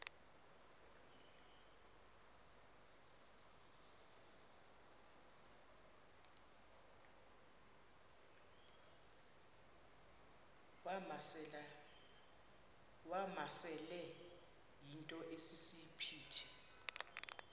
wamasele yinto esisiphithi